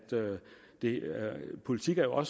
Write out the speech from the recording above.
politik og